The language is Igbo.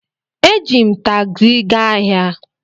E ji m takzi gaa ahia